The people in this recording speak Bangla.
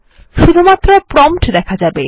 শুধুমাত্র প্রম্পট দেখা যাবে